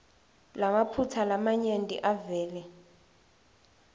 lamaphutsa lamanyenti avele